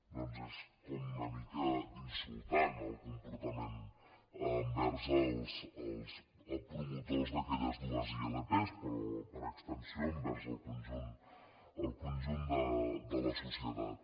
doncs és com una mica insultant el comportament envers els promotors d’aquelles dues ilp però per extensió envers el conjunt de la societat